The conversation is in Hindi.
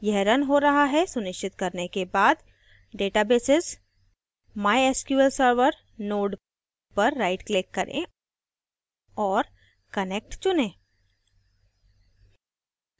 यह रन हो रहा है सुनिश्चित करने के बाद databases>> mysql server node पर right click करें और connect चुनें